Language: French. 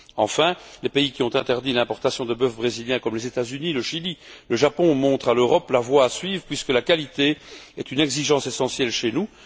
Enfin, les pays qui ont interdit l'importation de bœuf brésilien, comme les États Unis, le Chili et le Japon, montrent à l'Europe la voie à suivre, puisque la qualité est une exigence essentielle chez nous.